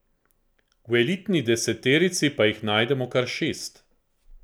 V elitni deseterici pa jih najdemo kar šest.